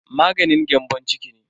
Maganin gyambon ciki ne.